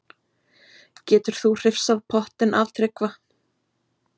Getur þú hrifsað pottinn af Tryggva?